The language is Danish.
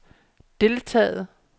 deltaget